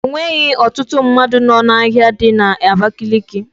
Onweghi ọtụtụ mmadụ nọ n'ahia dị na Abakaliki.